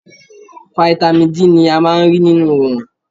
Fáítámì D ni a máa ń rí nínú Òòrùn.